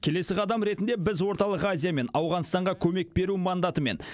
келесі қадам ретінде біз орталық азия мен ауғанстанға көмек беру мандатымен